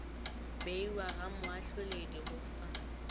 beiwa ga moahloledi go fa